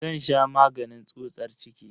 Zan sha maganin tsutsar ciki.